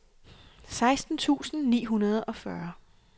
seksten tusind ni hundrede og fyrre